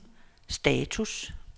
status